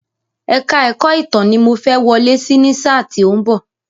Èka-ẹ̀kọ́ Ìtàn wò ni mo fẹ́ wọlé sí ní sáà tí ó ń bọ̀.